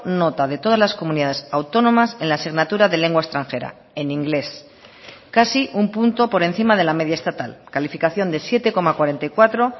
nota de todas las comunidades autónomas en la asignatura de lengua extranjera en inglés casi un punto por encima de la media estatal calificación de siete coma cuarenta y cuatro